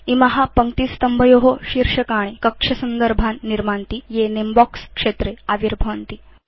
इमा पङ्क्तिस्तम्भयो शीर्षकाणि कक्षसन्दर्भान् निर्मान्ति ये नमे बॉक्स क्षेत्रे आविर्भवन्ति